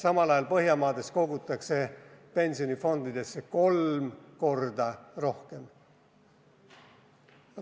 Aga Põhjamaades kogutakse pensionifondidesse kolm korda rohkem raha.